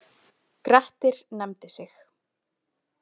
Grettir nefndi sig.